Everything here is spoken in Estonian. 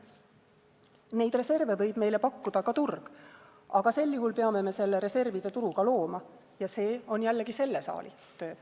Neid reserve võib meile pakkuda ka turg, aga sel juhul peame me selle reservide turu ka looma, ja see on jällegi selle saali töö.